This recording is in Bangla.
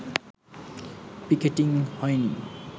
পিকেটিংই হয়নি